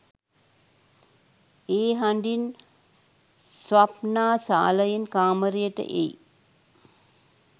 ඒ හඬින් ස්වප්නා සාලයෙන් කාමරයට එයි